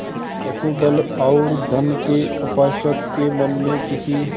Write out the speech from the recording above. पशुबल और धन के उपासक के मन में किसी